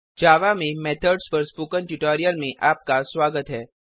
जावा में मेथड्स पर spoken tutorial में आपका स्वागत है